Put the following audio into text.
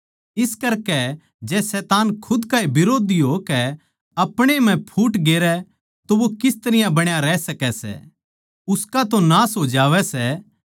इस करकै जै शैतान खुद का ए बिरोधी होकै आपणे म्ह फूट गेरै तो वो किस तरियां बण्या रहै सकै सै उसका तो नाश हो जावै सै